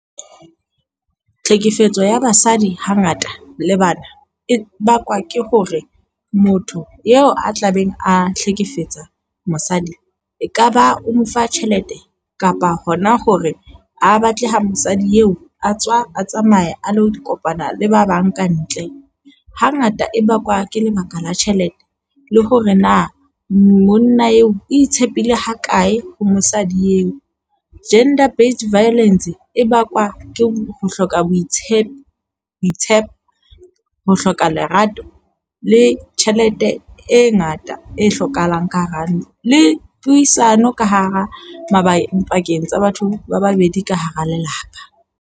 Tlhekefetso ya basadi hangata le bana e bakwa ke hore motho eo a tlabeng a hlekefetsa mosadi ekaba o mo fa tjhelete kapa hona hore ha batle ho mosadi eo, a tswa a tsamaya a lo kopana le ba bang ka ntle. Hangata e bakwa ke lebaka la tjhelete le hore na monna eo itshepile ha kae ho mosadi eo. Gender Based Violence e bakwa ke ho hloka boitshepo, boitshepo, ho hloka lerato le tjhelete e ngata e hlokahalang ka hara ntlo . Le puisano ka hara mabakeng pakeng tsa batho ba babedi ka hara lelapa.